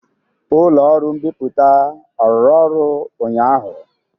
Ụlọ ọrụ mbipụta ọ rụrụ ọrụ ụnyaahụ?